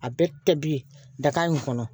A bɛɛ kɛ bi ye daga in kɔnɔ